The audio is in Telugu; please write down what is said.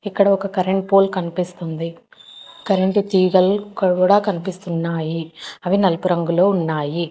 ఇక్కడ ఒక కరెంట్ పోల్ కనిపిస్తుంది కరెంటు తీగల్ ఇక్కడ కూడా కనిపిస్తున్నాయి అవి నలుపు రంగులో ఉన్నాయి.